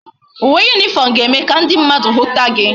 Uwe uniform ga eme ka ndi mmadu huta gi